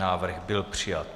Návrh byl přijat.